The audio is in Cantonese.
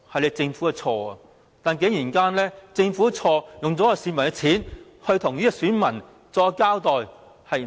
是政府的錯，但政府出錯，竟然用市民的錢向選民作交代。